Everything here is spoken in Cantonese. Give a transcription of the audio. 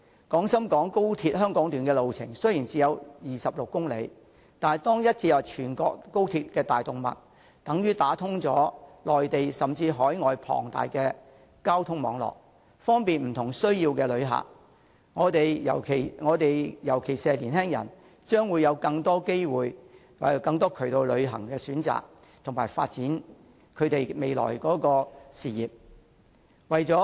廣深港高鐵香港段的路程雖然只有26公里，但一經接入全國高鐵的大動脈，便等於打通了內地甚至海外龐大的交通網絡，方便不同需要的旅客，尤其是年輕人將會有更多旅遊的選擇及發展未來事業的機會。